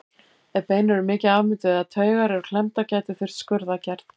Ef bein eru mikið afmynduð eða taugar eru klemmdar gæti þurft skurðaðgerð.